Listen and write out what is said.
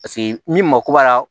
Paseke n'i mako b'a la